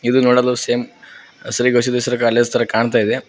ಇದು ನೋಡಲು same college ತರ ಕಾಣ್ತಾ ಇದೆ.